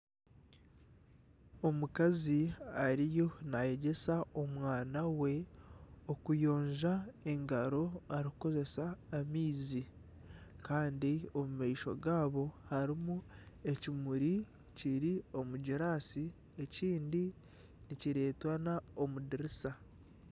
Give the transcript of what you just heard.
Omukazi ariyo nayegyesa omwana we okuyonja engaro arikukozesa amaizi Kandi omu maisho gaabo harimu ekimuri kiri omu girasi, ekindi nikiretwana omu dirisa.